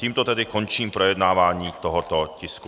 Tímto tedy končím projednávání tohoto tisku.